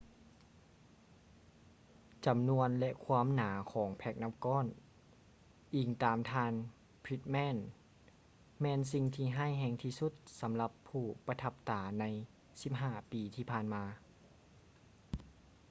ຈຳນວນ ແລະ ຄວາມໜາຂອງແພ້ກນ້ຳກ້ອນ ອິງຕາມທ່ານ pittman ແມ່ນສິ່ງທີ່ຮ້າຍແຮງທີ່ສຸດສຳລັບຜູ້ປະທັບຕາໃນ 15 ປີທີ່ຜ່ານມາ